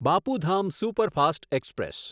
Bapu Dham superfast express